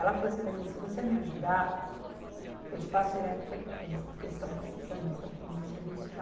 Ela falou assim para mim, se você me ajudar, eu te passo direto para a empresa, porque eles estão precisando, eles estão com muito serviço lá.